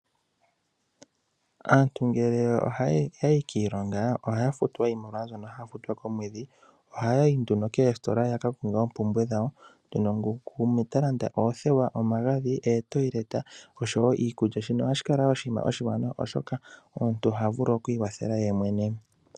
Aanatu ngele otaa yi kiilonga ohaa futwa oshimaliwa shoka haa futwa komwedhi ohaa yi nduno koositola yakalande oompumbwe dhawo ngaashi oothewa, omagadhi, ootayileta oshowo iikulya shino ohashi kala wo oshinima oshiwanawa oshoka omuntu oha vulu okwiikwathela yemwe.